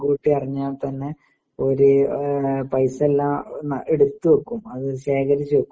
മുൻകൂട്ടി അറിഞ്ഞാ തന്നെ ഓര് പൈസ എല്ലാം എടുത്തു വെയ്ക്കും അത് ശേഖരിച്ചു വെയ്ക്കും